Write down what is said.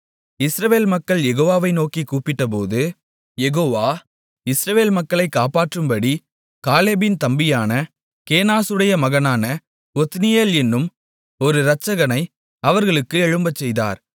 இஸ்ரவேல் மக்கள் யெகோவாவை நோக்கிக் கூப்பிட்டபோது யெகோவா இஸ்ரவேல் மக்களை காப்பாற்றும்படி காலேபின் தம்பியான கேனாசுடைய மகனான ஒத்னியேல் என்னும் ஒரு இரட்சகனை அவர்களுக்கு எழும்பச்செய்தார்